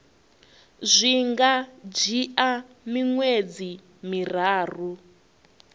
zwi nga dzhia miṅwedzi miraru